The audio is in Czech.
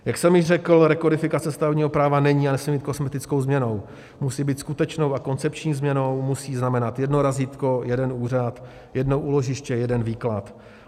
Jak jsem již řekl, rekodifikace stavebního práva není a nesmí být kosmetickou změnou, musí být skutečnou a koncepční změnou, musí znamenat jedno razítko, jeden úřad, jedno úložiště, jeden výklad.